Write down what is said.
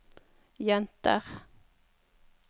jenter